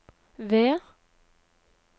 V